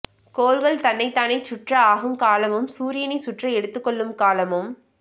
கோள்கள் தன்னை தானே சுற்ற ஆகும் காலமும் சூரியனை சுற்ற எடுத்து கொள்ளும் காலமும்